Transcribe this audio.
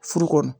Furu kɔnɔ